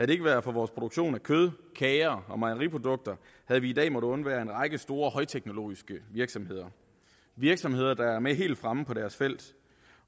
det ikke været for vores produktion af kød kager og mejeriprodukter havde vi i dag måttet undvære en række store højteknologiske virksomheder virksomheder der er med helt fremme på deres felt